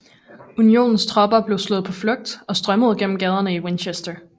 Unionens tropper blev slået på flugt og strømmede gennem gaderne i Winchester